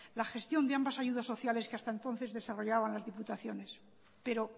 la gestión de ambas ayudas sociales que hasta entonces desarrollaban las diputaciones pero